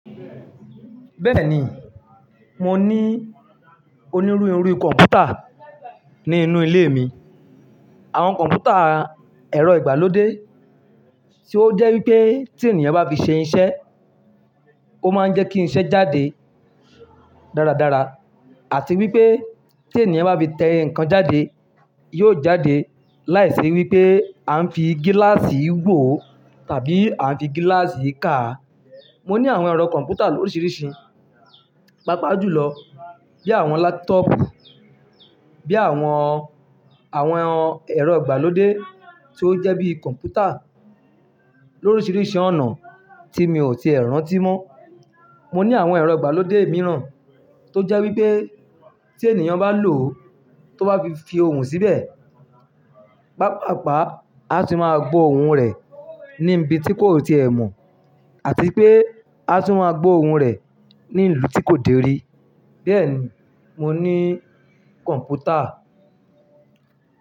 Bẹ́ẹ̀ni, mo ní onírúurú irú kọ̀mpútà ní inú ilé mi. Àwọn kọ̀mpútà ẹ̀rọ ìgbàlódé tí ó jẹ́ wípé tí ènìyàn bá fi ṣe iṣẹ́, ó máa ń jẹ́ kí iṣẹ́ jáde dáradára àti wípé tí ènìyàn bá fi tẹ nǹkan jáde, yóò jáde láìsí wípé a ń fi gíláàsì wó tàbí a ń fi gíláàsì kà. Mo ní àwọn ẹ̀rọ kọ̀mpútà l'oríṣiríṣi, pàápàá jùlọ bí àwọn látọ́ọ̀pù, bí àwọn, àwọn ẹ̀rọ ìgbàlódé tí ó jẹ́ bí kọ̀mpútà lóríṣiríṣi ọ̀nà tí mi ò tíì rántí mọ́. Mo ní àwọn ẹ̀rọ ìgbàlódé mìíràn tó jẹ́ wípé tí ènìyàn bá lò ó, tó bá fi ohùn síbẹ̀, pàápàápa a tún máa gbó ohùn rẹ̀ ní ibi tí kò tíì ẹ mọ̀ àti pé a tún máa gbó ohùn rẹ̀ ní ìlú tí kò dèrí. Bẹ́ẹ̀ni, mo ní kọ̀mpútà.